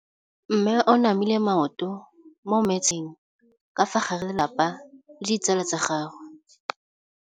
Mme o namile maoto mo mmetseng ka fa gare ga lelapa le ditsala tsa gagwe.